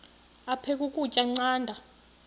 aphek ukutya canda